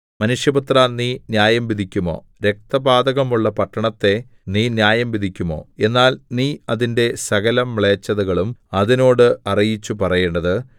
മനുഷ്യപുത്രാ നീ ന്യായംവിധിക്കുമോ രക്തപാതകമുള്ള പട്ടണത്തെ നീ ന്യായംവിധിക്കുമോ എന്നാൽ നീ അതിന്റെ സകലമ്ലേച്ഛതകളും അതിനോട് അറിയിച്ചു പറയേണ്ടത്